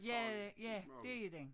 Ja ja det er den